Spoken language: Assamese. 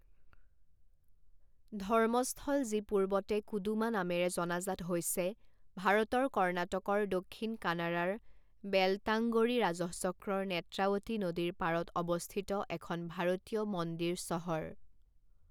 ধৰ্মস্থল যি পূৰ্বতে কুডুমা নামেৰে জনাজাত হৈছে ভাৰতৰ কৰ্ণাটকৰ দক্ষিণ কানাড়াৰ বেলটাংগড়ি ৰাজহচক্ৰৰ নেত্ৰাৱতী নদীৰ পাৰত অৱস্থিত এখন ভাৰতীয় মন্দিৰ চহৰ।